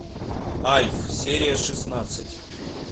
альф серия шестнадцать